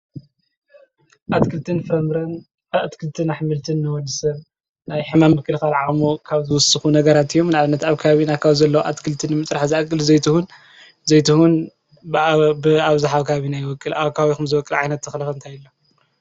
ኣትክልቲን ፍራምረን ኣትክልቲን ኣሕምልቲን ንወዲ ሰብ ናይ ሕማም ናይ ምክልካል ዓቅሙ ካብ ዝውስኩ ነገራት እዩ። ንኣብነት ኣብ ከባቢኩም ዘለው ኣትክልቲ ንምፅራሕ ዝኣክል ዘይትሁን ዘይትሁን ብኣብዛሓ ኣብ ከባቢና ይበቁል። ኣብ ከባቢኩም ዝበቁል ዓይነት ተክሊ እንታይ ኣሎ?